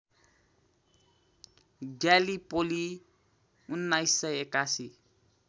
Gallipoli १९८१